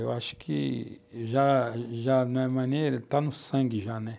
Eu acho que já, já não é mais nem, tá no sangue já, né?